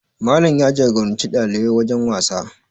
Malam ya jagoranci ɗalibai wajen wasa